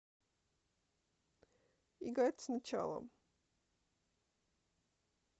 играть сначала